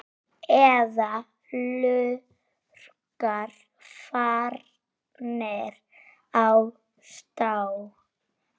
Eða lurkar farnir á stjá?